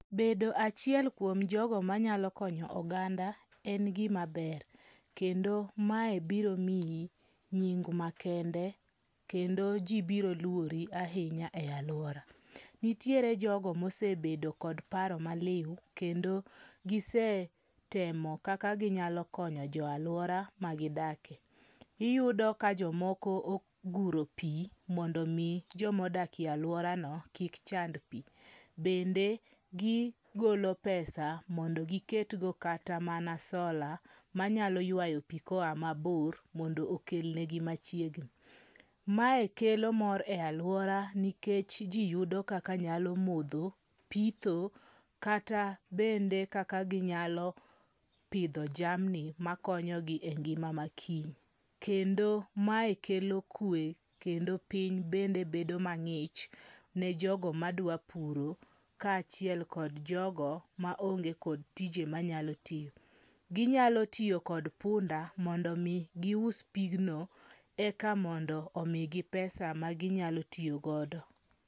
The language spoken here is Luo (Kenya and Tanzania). Bedo achiel kuom jogo manayalo konyo oganda en gima ber, kendo mae biro miyi nying makende kendo ji biro luori ahinya e alwora. Nitiere jogo mosebedo kod paro maliw kendo gisetemo kaka ginyalo konyo jo alwora magidake. Iyudo ka jomoko oguro pi mondo omi jomodakie alworano kik chand pi. Bende gigolo pesa mondo giketgo kata mana sola manyalo ywayo pi koa mabor mondo okelnegi machiegni. Mae kelo mor e alwora nikech ji yudo kaka nyalo modho, pitho kata bende kaka ginyalo pidho jamni makonyogi e ngima makiny. Kendo mae kelo kwe kendo piny bende bedo mang'ich ne jogo madwa puro kaachiel kod jogo maonge kod tije manyalo tiyo. Ginyalo tiyo kod punda mondo omi gius pigno eka mondo omigi pesa maginyalo tiyogodo.